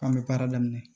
K'an bɛ baara daminɛ